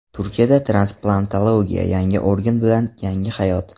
Turkiyada transplantologiya: Yangi organ bilan yangi hayot.